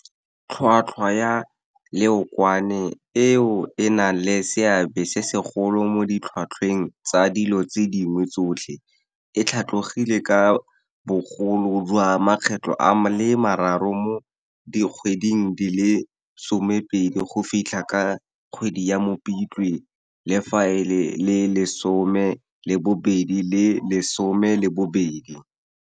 Tlhotlhwa ya leokwane, eo e nang le seabe se segolo mo ditlhotlhweng tsa dilo tse dingwe tsotlhe, e tlhatlogile ka bogolo jwa makgetlo a le mararo mo dikgweding di le 12 go fitlha ka kgwedi ya Mopitlwe 2022.